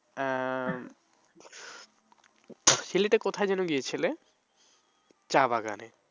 আহ সিলেটে কোথায় যেন গিয়েছিলে? চা বাগানে